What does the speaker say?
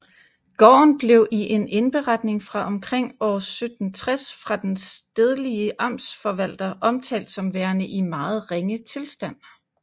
Gården blev i en indberetning fra omkring år 1760 fra den stedlige amtsforvalter omtalt som værende i meget ringe tilstand